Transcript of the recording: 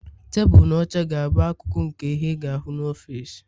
Tebụl na oche ga-abụ akụkụ nke ihe ị ga-ahụ n'ọfịs